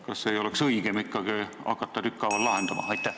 Kas ei oleks õigem ikkagi hakata neid tükkhaaval lahendama?